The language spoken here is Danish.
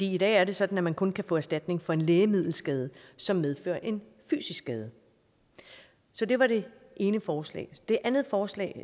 i dag er det sådan at man kun kan få erstatning for en lægemiddelskade som medfører en fysisk skade så det var det ene forslag det andet forslag